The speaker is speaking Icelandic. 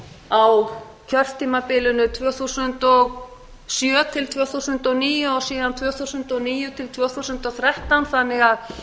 á kjörtímabilinu tvö þúsund og sjö til tvö þúsund og níu og síðan tvö þúsund og níu til tvö þúsund og þrettán þannig að